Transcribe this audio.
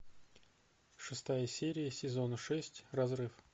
шестая серия сезона шесть разрыв